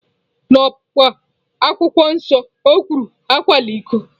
N'Ọpụpụ, Akwụkwọ Nsọ kwuru, "Akwala iko!"